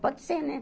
Pode ser, né?